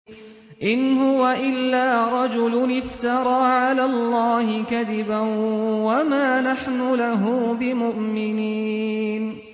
إِنْ هُوَ إِلَّا رَجُلٌ افْتَرَىٰ عَلَى اللَّهِ كَذِبًا وَمَا نَحْنُ لَهُ بِمُؤْمِنِينَ